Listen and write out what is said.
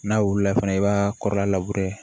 N'a wula fana i b'a kɔrɔla